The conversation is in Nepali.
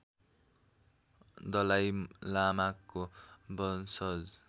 दलाई लामाको वंशज